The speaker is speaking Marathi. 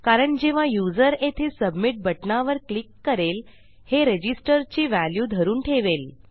कारण जेव्हा युजर येथे सबमिट बटणावर क्लिक करेल हे रजिस्टर ची व्हॅल्यू धरून ठेवेल